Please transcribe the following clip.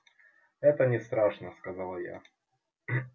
это не страшно сказала я